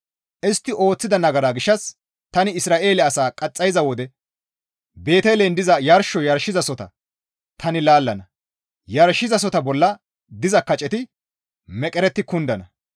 Istti ooththida nagara gishshas tani Isra7eele asaa qaxxayiza wode Beetelen diza yarsho yarshizasohota tani laallana; yarshizasohota bolla diza kaceti meqeretti kundana.